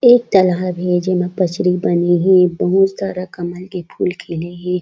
एक तालाब हे जेमा पछरी बने हे बहुत सारा कमल के फूल खिले हे।